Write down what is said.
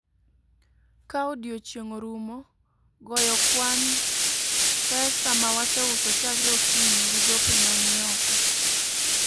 Ka odiechieng' orumo, goyo kwana pesa mawaseuso chakre okinyi, gi gope mani oko